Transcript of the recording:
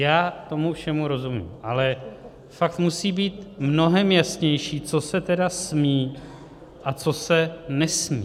Já tomu všemu rozumím, ale fakt musí být mnohem jasnější, co se tedy smí a co se nesmí.